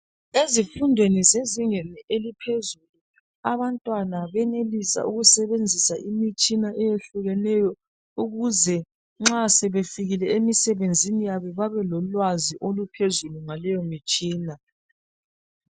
Ezifundweni zezingeni eliphezulu abantwana benelisa ukusebenzisa imitshina eyehlukeneyo ukuze nxa sebefikile emisebenzini yabo babelolwazi oluphezulu ngaleyo mitshina.